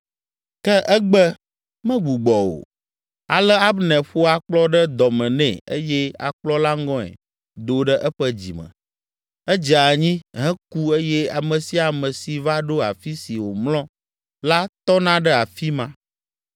Ke egbe, megbugbɔ o. Ale Abner ƒo akplɔ ɖe dɔ me nɛ eye akplɔ la ŋɔe do ɖe eƒe dzime. Edze anyi, heku eye ame sia ame si va ɖo afi si wòmlɔ la tɔna ɖe afi ma.